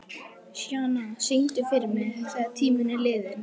Sjana, syngdu fyrir mig „Þegar tíminn er liðinn“.